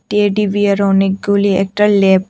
Teddy bear অনেকগুলি একটা ।